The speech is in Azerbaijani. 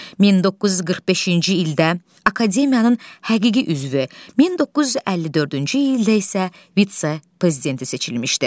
1945-ci ildə akademiyanın həqiqi üzvü, 1954-cü ildə isə vitse-prezidenti seçilmişdi.